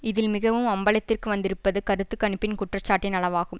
இதில் மிகவும் அம்பலத்திற்கு வந்திருப்பது கருத்துகணிப்பின் குற்றச்சாட்டின் அளவாகும்